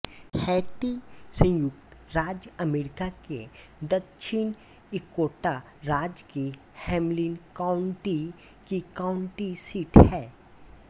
Hattie संयुक्त राज्य America के दक्षिण डकोटा राज्य की हैम्लिन काउण्टी की काउण्टी सीट है